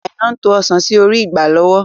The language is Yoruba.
Aina ń to Ọ̀sán sì orí igbá lọ́wọ́.